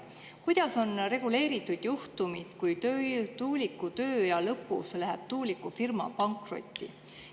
Kuidas on reguleeritud juhtumid, kui tuuliku tööea lõpus läheb tuulikufirma pankrotti?